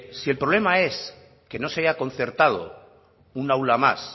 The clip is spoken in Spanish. si el problema es que no se haya concertado un aula más